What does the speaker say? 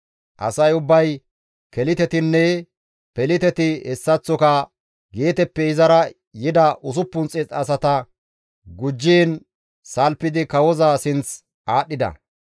Asay ubbay Kelitetinne Peliteti hessaththoka Geeteppe izara yida 600 asata gujjiin salfidi kawoza sinth aadhdhida.